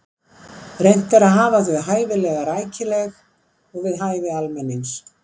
Reynt er að hafa þau hæfilega rækileg og við hæfi almennings.